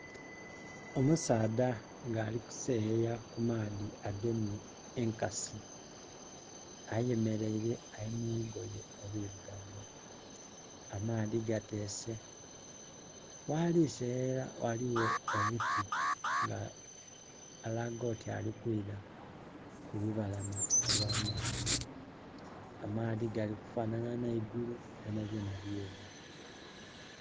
Omusaadha nga ali kuseyeya ku maadhi agemye enkasi ayemereire ali mu lugoye olwirugavu amaadhi gateese, ghali seyeyera ghaligho omuti nga alaga oti ali kwira ku lubalama olwa maadhi, amaadhi gali lifanana nheigulu byona byona bweru.